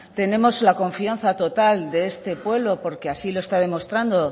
tenemos la confianza total de este pueblo porque así lo está demostrando